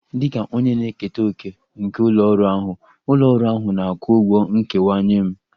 Dịka onye na-eketa òkè nke ụlọ ọrụ ahụ, ụlọ ọrụ ahụ na-akwụ ụgwọ nkewa nye m